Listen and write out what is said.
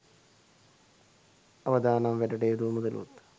අවදානම් වැඩට යෙදූ මුදලුත්